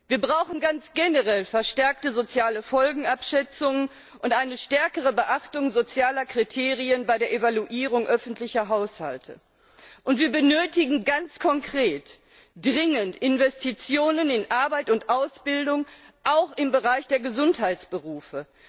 Wir brauchen ganz generell eine verstärkte soziale Folgenabschätzung und eine stärkere Beachtung sozialer Kriterien bei der Evaluierung öffentlicher Haushalte. Wir benötigen ganz konkret dringend Investitionen in Arbeit und Ausbildung auch im Bereich der Gesundheitsberufe.